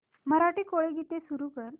मराठी कोळी गीते सुरू कर